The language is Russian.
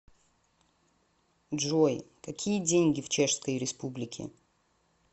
джой какие деньги в чешской республике